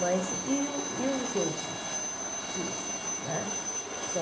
Mas e os e os outros cursos né?